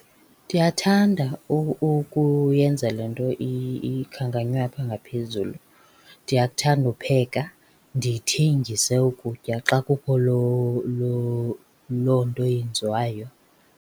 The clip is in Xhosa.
Ndiyathanda ukuyenza le nto ikhankanywe apha ngaphezulu. Ndiyakuthanda upheka ndithengise ukutya xa kukho loo loo loo nto yenziwayo.